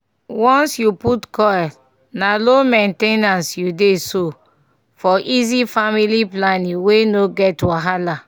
once you put coil na low main ten ance u dey so - for easy family planning wey no get wahala